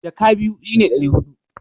jaka biyu shi ne dari hudu